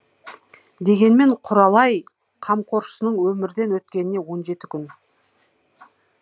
дегенмен құралай қамқоршысының өмірден өткеніне он жеті күн